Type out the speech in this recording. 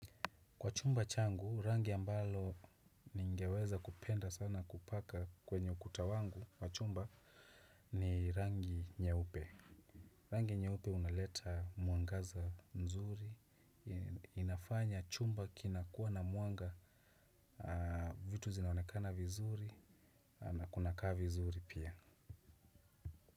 Kwa chumba changu, rangi ambalo ningeweza kupenda sana kupaka kwenye ukuta wangu kwa chumba ni rangi nyeupe. Rangi nyeupe unaleta mwangaza nzuri, inafanya chumba kinakuwa na mwanga vitu zinaonekana vizuri na kunakaa vizuri pia.